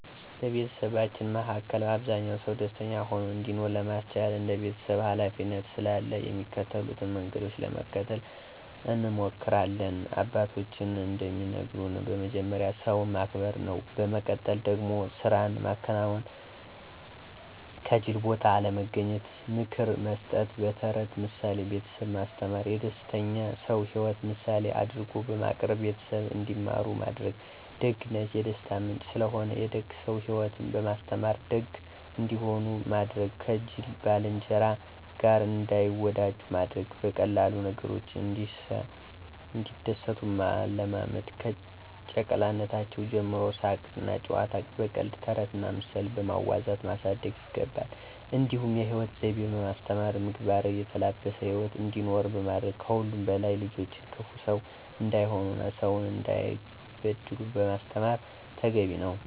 በቤተሰባችን መሀከ አብዛኛ ሰው ደስተኛ ሆኖ እንዲኖር ለማስቻል እንደ ቤተሰብ ሀላፊነት ስላለ የሚከተሉትን መንገዶች ለመከተል እንሞክሪለን፦ አባቶችም እንደሚነግሩን በመጀመሪያ ሰውን ማክበር ነው፤ በመቀጠል ደግሞ ስራን ማከናወን፥ ከጂል ቦታ አለመገኘት፣ ምክር መስጠት፣ በተረትና ምሳሌ ቤተሰብን ማስተማር፣ የደስተኛ ሰው ሂወትን ምሳሌ አድርጎ በማቅረብ ቤተሰብ እንዲማሩ ማድረግ፣ ደግነት የደስታ ምንጭ ስለሆነ፥ የደግ ሰው ሂወትን በማስተማር ደግ እንዲሆኑ ማድረግ፥ ከጂል ባልንጀራ ጋር እንዳይወጃጁ ማድረግ፣ በቀላል ነገሮች እንዲደሰቱ ማለማመድ፣ ከጨቅላነታቸው ጀምሮ ሳቅና ጨዋታን በቀልድ፥ ተረትና ምሳሌ በማዋዛት ማሳደግ ይገባ። እንዲሁም የሂወት ዘይቤ በማስተማር ምግባር የተላበሰ ሂወት እንዲኖሩ ማድረግ ከሁሉም በላይ ልጆችን ክፉ ሰው እንዳይሆኑና ሰውን እንዳይበድሉ ማስተማር ተገቢ ነው።